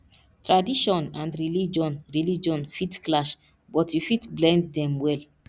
tradition and religion religion fit clash but you fit blend dem well